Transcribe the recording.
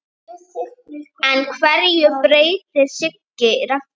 En hverju breytti Siggi Raggi?